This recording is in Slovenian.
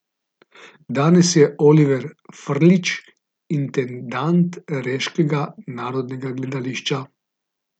Danes je Oliver Frljić intendant reškega narodnega gledališča.